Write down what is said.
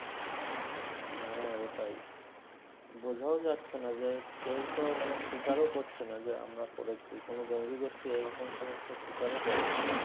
হ্যাঁ ওটাই বোঝাও যাচ্ছের না যে কেও তো মানে স্বীকার ও করছে না যে আমরা করেছি কোন জঙ্গি গোষ্ঠী এই রকম কোন স্বীকার ও করে নি